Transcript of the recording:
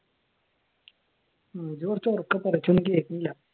ആഹ് ഇജ്ജ് കുറച്ചുറക്കെ പറ എനിക്കൊന്നും കേൾക്കുന്നില്ല